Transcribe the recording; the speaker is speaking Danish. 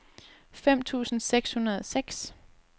fem tusind seks hundrede og seks